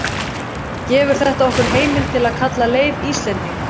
gefur þetta okkur heimild til að kalla leif íslending